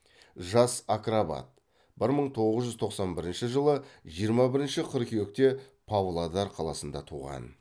жас акробат бір мың тоғыз жуз тоқсан бірінші жылы жиырма бірінші қыркүйекте павлодар қаласында туған